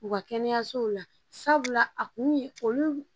U ka kɛnɛyasow la sabula a kun ye olu